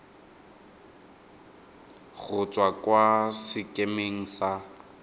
go tswa kwa sekemeng sa